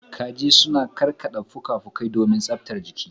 Kaji sukan karkada fuka-fukai su domin tsabtar jiki.